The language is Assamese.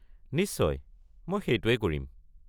নিশ্চয়, মই সেইটোৱেই কৰিম।